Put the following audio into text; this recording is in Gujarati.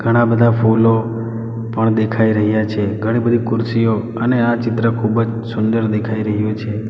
ઘણા બધા ફૂલો પણ દેખાય રહ્યા છે ઘણી બધી કુરશીઓ અને આ ચિત્ર ખૂબજ સુંદર દેખાય રહ્યું છે.